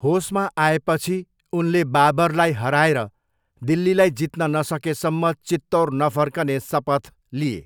होसमा आएपछि, उनले बाबरलाई हराएर दिल्लीलाई जित्न नसकेसम्म चित्तौर नफर्कने सपथ लिए।